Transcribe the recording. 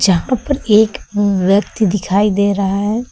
यहां पर एक व्यक्ति दिखाई दे रहा है।